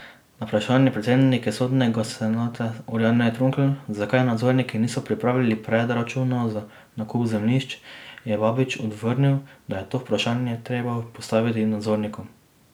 Na vprašanje predsednice sodnega senata Orjane Trunkl, zakaj nadzorniki niso pripravili predračuna za nakup zemljišč, je Babič odvrnil, da je to vprašanje treba postaviti nadzornikom.